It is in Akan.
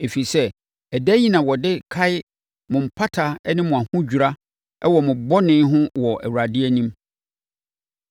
ɛfiri sɛ, ɛda yi na wɔde kae mo mpata ne mo ahodwira wɔ mo bɔne ho wɔ Awurade anim.